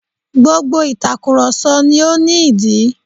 Gbogbo ìtakùròsọ ni ó ní ìdí